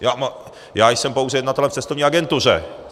Já jsem pouze jednatelem v cestovní agentuře.